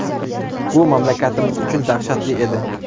Bu mamlakatimiz uchun dahshatli edi.